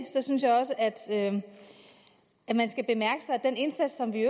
synes jeg også at at man skal bemærke sig den indsats som vi